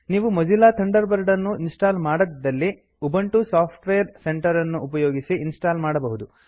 ನೀವು Mozilla Thunderbird ಅನ್ನು install ಮಾಡದಿದ್ದಲ್ಲಿ ಉಬಂಟು ಸಾಫ್ಟ್ ವೇರ್ ಸೆಂಟರ್ ಅನ್ನು ಉಪಯೋಗಿಸಿ ಇನ್ಸ್ಟಾಲ್ ಮಾಡಬಹುದು